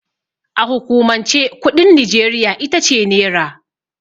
A hukumance kuɗin Nijeriya itace Nera.